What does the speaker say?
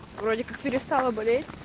в роликах перестала болеть